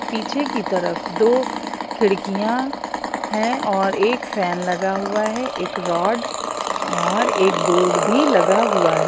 पीछे की तरफ दो खिड़कियां हैं और एक फैन लगा हुआ है एक रड और एक बोर्ड भी लगा हुआ है।